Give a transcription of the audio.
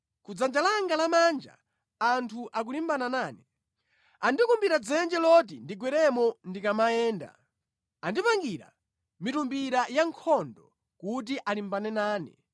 Ku dzanja langa lamanja anthu akulimbana nane; andikumbira dzenje loti ndigweremo ndikamayenda, andipangira mitumbira ya nkhondo kuti alimbane nane.